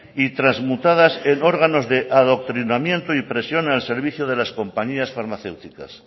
y transmutadas en órganos de adoctrinamiento y presión al servicio de las compañías farmacéuticas